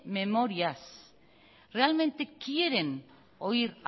memorias realmente quieren oír